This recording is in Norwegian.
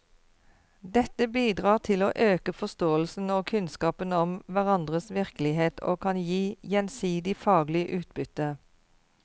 Dette bidrar til å øke forståelsen og kunnskapen om hverandres virkelighet og kan gi gjensidig faglig utbytte.